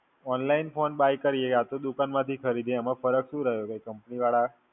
Online phone buy કરીએ યા તો દુકાન માંથી ખરીદીએ એમાં ફર્ક શું રહ્યો? કે Company વાળા